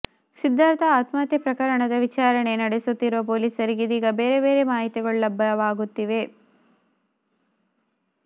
ಸಿದ್ಧಾರ್ಥ ಆತ್ಮಹತ್ಯೆ ಪ್ರಕರಣದ ವಿಚಾರಣೆ ನಡೆಸುತ್ತಿರುವ ಪೊಲೀಸರಿಗೆ ಇದೀಗ ಬೇರೆ ಬೇರೆ ಮಾಹಿತಿಗಳು ಲಭ್ಯವಾಗುತ್ತಿದೆ